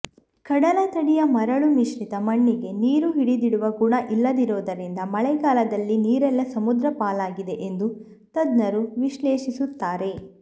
ಕಡಲ ತಡಿಯ ಮರಳು ಮಿಶ್ರಿತ ಮಣ್ಣಿಗೆ ನೀರು ಹಿಡಿದಿಡುವ ಗುಣ ಇಲ್ಲದಿರುವುದರಿಂದ ಮಳೆಗಾಲದ ನೀರೆಲ್ಲ ಸಮುದ್ರಪಾಲಾಗಿದೆ ಎಂದು ತಜ್ಞರು ವಿಶ್ಲೇಷಿಸುತ್ತಾರೆ